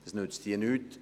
das nützt hier nichts.